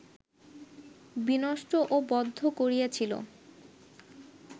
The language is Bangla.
বিনষ্ট ও বদ্ধ করিয়াছিল